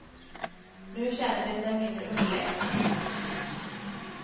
Nu känner de sig mindre underlägsna.